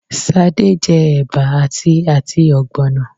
Sade je eba ati ati ogbonna